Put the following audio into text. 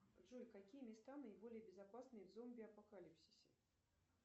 джой какие места наиболее безопасные в зомби апокалипсисе